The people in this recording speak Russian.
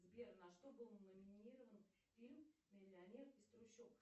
сбер на что был номинирован фильм миллионер из трущоб